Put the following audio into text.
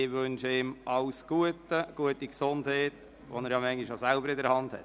Ich wünsche ihm alles Gute und gute Gesundheit, die er ja manchmal auch selber in der Hand hat.